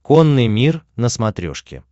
конный мир на смотрешке